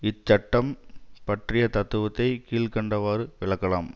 இன் சட்டம் பற்றிய தத்துவத்தை கீழ் கண்டவாறு விளக்கலாம்